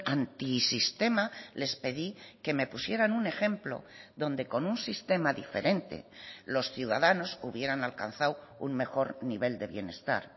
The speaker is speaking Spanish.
antisistema les pedí que me pusieran un ejemplo donde con un sistema diferente los ciudadanos hubieran alcanzado un mejor nivel de bienestar